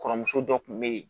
Kɔrɔmuso dɔ tun bɛ yen